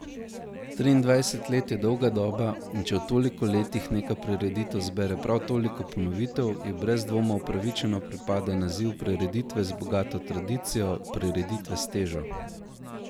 Triindvajset let je dolga doba, in če v toliko letih neka prireditev zbere prav toliko ponovitev, ji brez dvoma upravičeno pripada naziv prireditve z bogato tradicijo, prireditve s težo.